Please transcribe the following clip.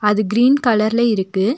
அது கிரீன் கலர்ல இருக்கு.